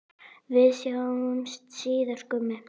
Við sjáumst síðar, Gummi.